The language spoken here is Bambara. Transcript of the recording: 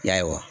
Ya